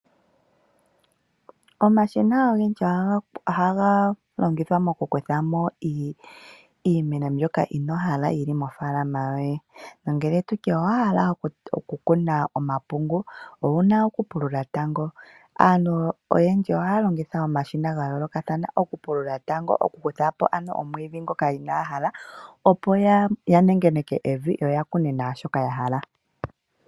Omashina ogendji ohaga longithwa okukutha mo iimeno mbyoka inoyi hala mofaalama yoye. Nongele owahala okukuna omapungu, aantu oyendji ohaya longitha omashina ga yooloka okupulula tango ya kuthe po iimeno mbyoka inaa ya hala, ya nengeneke evi opo ya kune po iimeno mbyoka ya hala.